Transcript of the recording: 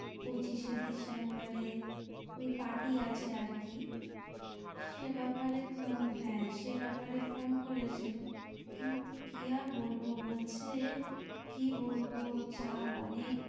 পঁচিশে ডিসেম্বরে ওই party আছে আরকি সে ব্যাপারে হ্যাঁ সে ব্যাপারে phone করেছিল কিন্তু কি আর বলবো বলছে কি বলবো চাপ অনেক ।